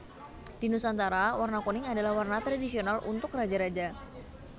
Di Nusantara warna kuning adalah warna tradisional untuk raja raja